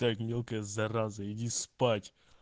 так мелкая зараза иди спать